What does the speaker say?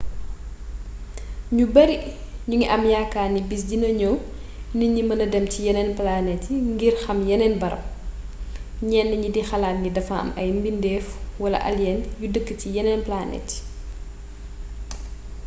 ñu bari ñu ngi am yaakaar ni bis dina ñëw nit ñi mêna dem ci yeneen plante ngir xam yeneen barab ñenn ñi di xalaat ni dafa am ay mbindeef wala alien yu dëkk ci yeneen planete yi